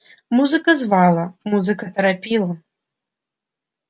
музыка звала музыка торопила